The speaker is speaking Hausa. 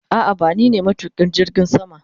A'a bani ba ne matukin jirgin sama.